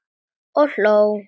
Og hló.